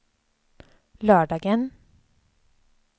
lördagen